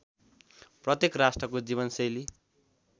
प्रत्येक राष्ट्रको जीवनशैली